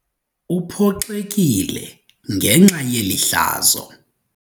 Uphoxekile ngenxa yeli hlazo.